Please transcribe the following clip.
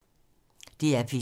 DR P2